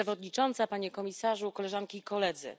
Pani Przewodnicząca! Panie Komisarzu! Koleżanki i Koledzy!